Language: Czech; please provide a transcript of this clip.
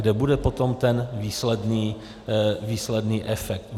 Kde bude potom ten výsledný efekt?